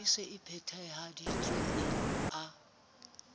e se e phethahaditswe a